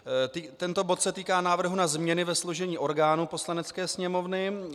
Tento bod se týká návrhu na změny ve složení orgánů Poslanecké sněmovny.